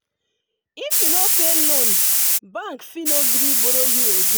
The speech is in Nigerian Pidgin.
if you no pay loan bank fit no gree borrow you again